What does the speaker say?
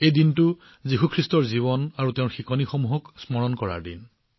এই দিনটো যীশু খ্ৰীষ্টৰ জীৱন আৰু শিক্ষাক স্মৰণ কৰাৰ দিন